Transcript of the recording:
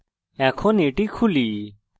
এখন এটি খুলি